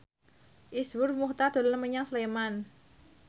Iszur Muchtar dolan menyang Sleman